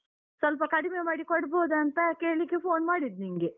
ಸ್ವಲ್ಪ ಕಡಿಮೆ ಮಾಡಿ ಕೊಡ್ಬೋದ ಅಂತ ಕೇಳಿಕ್ಕೆ phone ಮಾಡಿದ್ ನಿಂಗೆ.